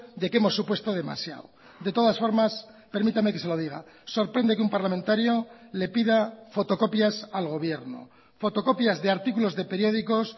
de que hemos supuesto demasiado de todas formas permítame que se lo diga sorprende que un parlamentario le pida fotocopias al gobierno fotocopias de artículos deperiódicos